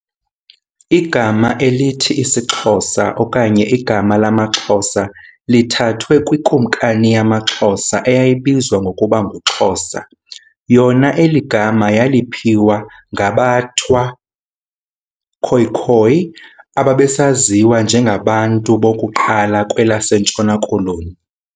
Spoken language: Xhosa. Igama elithi isiXhosa okanye igama lamaXhosa lithathwe kwiKumkani yamaXhosa eyayibizwa ngokuba nguXhosa. Yona eligama yaliphiwa ngaBathwa, Khoekhoe, ababesaziwa njengabantu bokuqala kwelase Ntshona koloni.